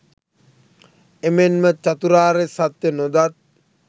එමෙන්ම චතුරාර්ය සත්‍ය නොදත්